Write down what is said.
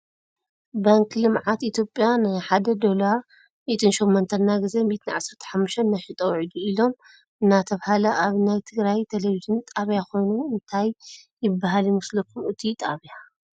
ባንኪ ልምዓት ኢትዮጵያ ንሓደ ዶላር 108 እናገዘአ 115 እናሸጠ ዊዒሉ ኢሎሞ እናተባህለ ኣብ ናይ ትግራይ ናይ ቴሌቭን ጣብያ ኮይኑ እንታይ ይብሃል ይመስኩም እቱይ ጣብያ?